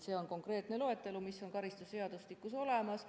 See on konkreetne loetelu, mis on karistusseadustikus olemas.